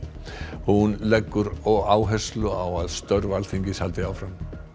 hún leggur áherslu á að störf Alþingis haldi áfram